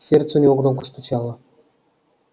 сердце у него громко стучало